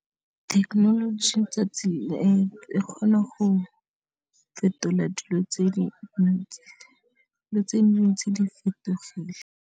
Thekenoloji 'tsatsi e kgona go fetola dilo tse di ntsi, le tse ntsi di fetogile.